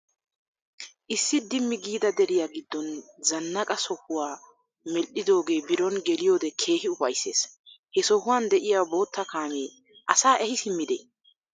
Issi Dimmi giida deriya giddon zannqqaa sohuwa medhidoogee biron geliyode keehi upayisses. He sohuwan de'iya bootta kaamee asaa ehi simmidi?